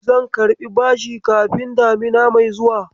Zan karɓi bashi kafin damina mai zuwa.